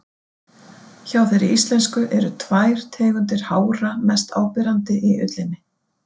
Hjá þeirri íslensku eru tvær tegundir hára mest áberandi í ullinni.